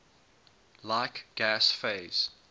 like gas phase